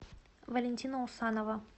валентина усанова